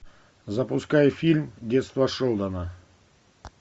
запускай фильм детство шелдона